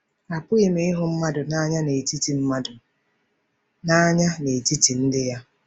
Apụghị ịhụ mmadụ n'anya n'etiti mmadụ n'anya n'etiti ndị ya.